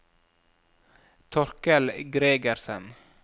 Torkel Gregersen